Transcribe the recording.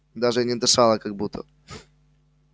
даже и не дышала как будто